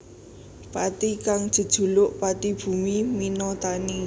Pathi kang jejuluk Pathi Bumi Mina Tani